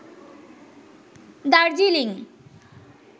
Darjeeling